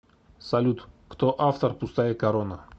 салют кто автор пустая корона